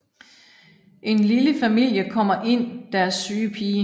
En lille familie kommer ind deres syge pige